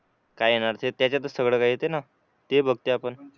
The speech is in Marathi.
काय येणारं त्याच्यात सगळ येतेना ते बघ ते आपन